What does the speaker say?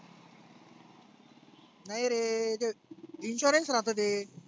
नाही रे ते insurance राहतं ते.